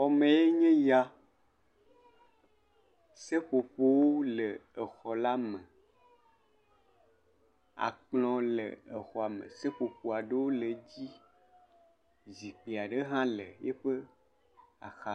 Xɔwoe nye ya, seƒoƒowo le exɔ la me, akplɔ le exɔ la me, seƒoƒo aɖewo le dzi, zikpui aɖe hã le yiƒe axa.